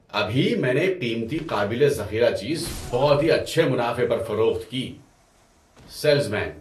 ابھی میں نے ایک قیمتی قابل ذخیرہ چیز بہت ہی اچھے منافع پر فروخت کی۔ (سیلز مین)